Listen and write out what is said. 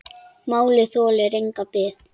Málið þolir enga bið.